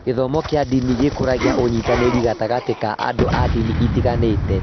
Gĩthomo kĩa ndini gĩkũragia ũnyitanĩri gatagatĩ ka andũ a ndini itiganĩte.